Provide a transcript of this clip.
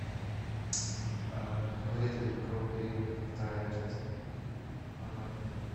смотреть ледниковый период вторая часть онлайн